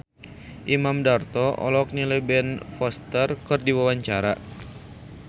Imam Darto olohok ningali Ben Foster keur diwawancara